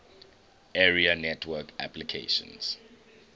area network applications